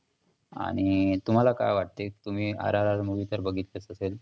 आणि तुम्हाला काय वाटते तुम्ही RRRmovie तर बघितलीच असेल.